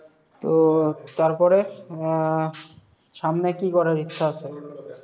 তো তারপরে? আহ সামনে কি করার ইচ্ছা আছে